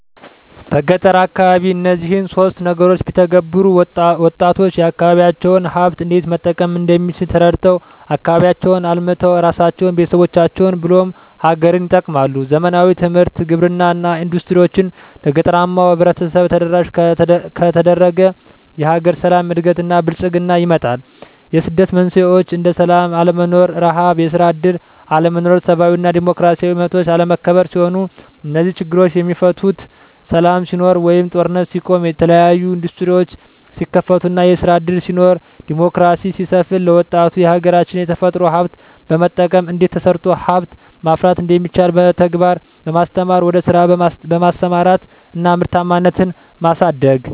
በገጠር አካባቢ እነዚህን ሶስት ነገሮች ቢተገበሩ -ወጣቶች የአካባቢዎቻቸውን ሀብት እንዴት መጠቀም እንደሚችል ተረድተው አካባቢያቸውን አልምተው እራሳቸውን፤ ቤተሰቦቻቸውን ብሎም ሀገርን ይጠቅማሉ። ዘመናዊ ትምህርት፤ ግብርና እና ኢንዱስትሪዎች ለገጠራማው ማህበረሰብ ተደራሽ ከተደረገ የሀገር ሰላም፤ እድገት እና ብልፅግና ይመጣል። የስደት መንስኤዎች እንደ ስላም አለመኖር፤ ርሀብ፤ የስራ እድል አለመኖር፤ ሰብአዊ እና ዲሞክራሲያዊ መብቶች አለመከበር ሲሆኑ -እነዚህ ችግሮች የሚፈቱት ሰላም ሲኖር ወይም ጦርነት ሲቆም፤ የተለያዬ እንዱስትሪዎች ሲከፈቱ እና ስራ እድል ሲኖር፤ ዲሞክራሲ ሲሰፍን፤ ለወጣቱ የሀገራች የተፈጥሮ ሀብት በመጠቀም እንዴት ተሰርቶ ሀብት ማፍራት እንደሚቻል በተግባር በማስተማር ወደ ስራ በማሰማራት እና ምርታማነትን ማሳደግ።